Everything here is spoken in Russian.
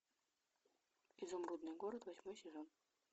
изумрудный город восьмой сезон